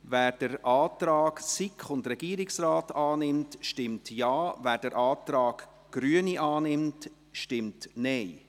Wer den Antrag SiK und Regierungsrat annimmt, stimmt Ja, wer den Antrag Grüne annimmt, stimmt Nein.